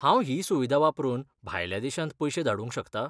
हांव ही सुविधा वापरून भायल्या देशांत पयशें धाडूंक शकता?